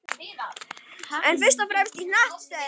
En fyrst og fremst í hnattstöðunni.